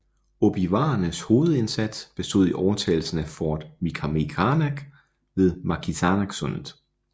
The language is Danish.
Ojibwaernes hovedindsats bestod i overtagelsen af Fort Michilimackinac ved Mackinacsundet